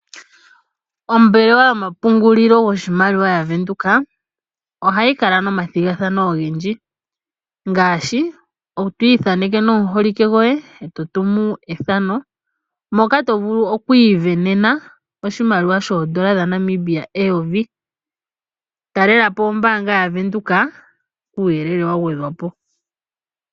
Ombelewa yomapungululo goshimaliwa yavenduka ohayi kala nomathigathano ogendji ngaashi to ithaneke nomuholike goye etotumu ethano moka to vulu oku isindanena oshimaliwa shoondola dhaNamibia eyovi. Talelapo ombaanga yaVenduka kuuyelele wa gwedhwapo.